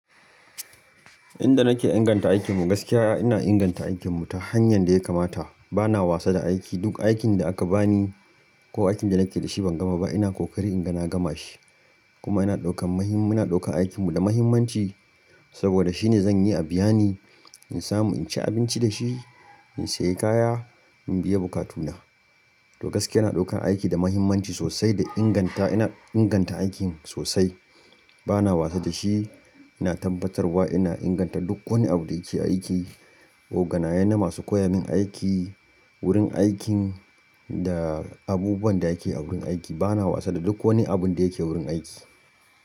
Inda nake inganta aikinmu gaskiya ina inganta aikinmu ta hanyar da ya kamata. Bana wasa da aiki, duk aikin da aka bani ko aikin da nake da shi ban gama ba ina kokari inga na gama shi. Kuma ina ɗaukan mahim-- muna ɗaukan aikinmu da muhimmanci saboda shine zan yi abiya ni, in samu in ci abinci da shi, in sayi kaya, in biya bukatuna. To gaskiya ina ɗaukan aiki da muhimmanci sosai da inganta ina inganta aikin sosai. Bana wasa da shi, ina tabbatarwa ina inganta duk wani abu da yake aiki, oganaye na masu koya min aiki, wurin aikin da abubuwan da ake a wurin aiki. Bana wasa da duk wani abun da yake wurin aiki.